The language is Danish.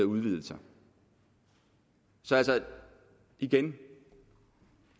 udvidelser så altså igen